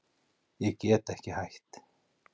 Ég get ekki hætt